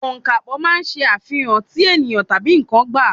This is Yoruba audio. Ọ̀ǹkàpò máa ń ṣe àfihàn tí ènìyàn tabi n̄ǹkan gba.